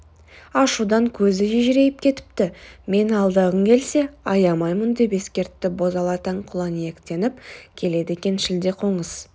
ашудан көзі ежірейіп кетіпті мені алдағың келсе аямаймын деп ескертті бозала таң құланиектеніп келеді екен шілдеқоңыз